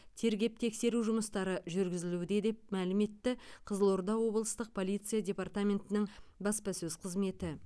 тергеп тексеру жұмыстары жүргізілуде деп мәлім етті қызылорда облыстық полиция департаментінің баспасөз қызметі